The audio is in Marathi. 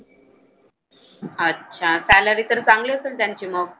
अच्छा. Salary तर चांगली असेल त्यांची मग.